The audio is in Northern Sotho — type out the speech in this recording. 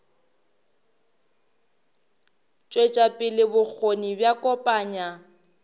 tšwetša pele bokgoni bja kopanya